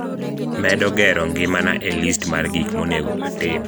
medo gero ngimana e list mar gik monego atim